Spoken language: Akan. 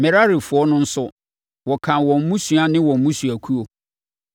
Merarifoɔ no nso, wɔkan wɔn mmusua ne wɔn mmusuakuo.